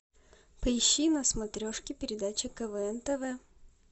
поищи на смотрешке передачу квн тв